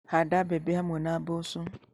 Handa mbembe hamwe na mboco.